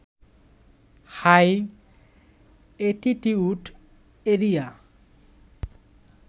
high altitude area